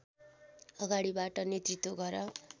अगाडिबाट नेतृत्व गर